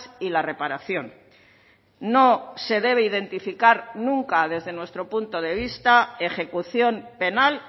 y la reparación no se debe identificar nunca desde nuestro punto de vista ejecución penal